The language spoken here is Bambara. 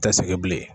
Tɛ segin bilen